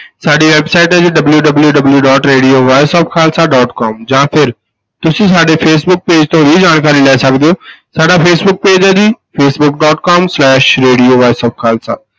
ਸਾਡੀ website ਹੈ ਜੀ WWW dot radio voice of Khalsa dot com ਜਾਂ ਫਿਰ ਤੁਸੀਂ ਸਾਡੇ ਫੇਸਬੁਕ page ਤੋਂ ਵੀ ਜਾਣਕਾਰੀ ਲੈ ਸਕਦੇ ਹੋ ਸਾਡਾ ਫੇਸਬੁੱਕ page ਹੈ ਜੀ Facebook dot com slash radio voice of Khalsa.